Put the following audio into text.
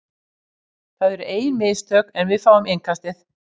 Það eru ein mistök, en við fengum innkastið.